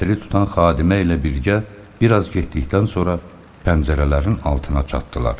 Çətiri tutan xadimə ilə birgə bir az getdikdən sonra pəncərələrin altına çatdılar.